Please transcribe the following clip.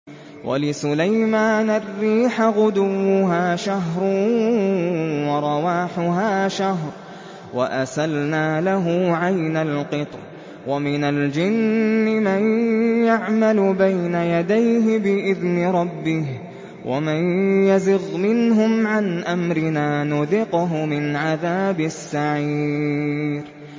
وَلِسُلَيْمَانَ الرِّيحَ غُدُوُّهَا شَهْرٌ وَرَوَاحُهَا شَهْرٌ ۖ وَأَسَلْنَا لَهُ عَيْنَ الْقِطْرِ ۖ وَمِنَ الْجِنِّ مَن يَعْمَلُ بَيْنَ يَدَيْهِ بِإِذْنِ رَبِّهِ ۖ وَمَن يَزِغْ مِنْهُمْ عَنْ أَمْرِنَا نُذِقْهُ مِنْ عَذَابِ السَّعِيرِ